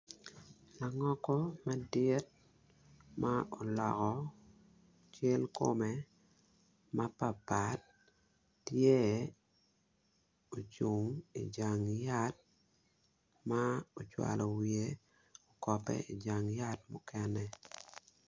Langoko madit ma oloko cal kom mapatpat tye ocung ijan yat ma ocwako wiye okope ijang yat mukene